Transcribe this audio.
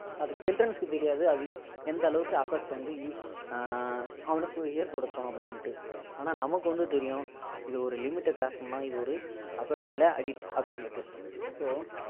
அது childrens க்கு தெரியாது அது எந்த அளவுக்கு affect வந்து ஆஹ் அவனுக்கு ஏற்படுதோம் அப்படின்னு ஆனா நமக்கு வந்து தெரியும் இது ஒரு limit cross பண்னா இது ஒரு affect இல்ல addict அப்படின்னு